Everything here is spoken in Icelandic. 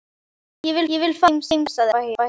Ég vil fara heim, sagði Abba hin.